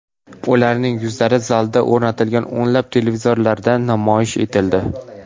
Ularning yuzlari zalga o‘rnatilgan o‘nlab televizorlarda namoyish etildi.